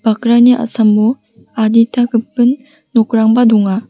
bakrani a·samo adita gipin nokrangba donga.